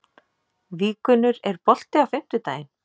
Víggunnur, er bolti á fimmtudaginn?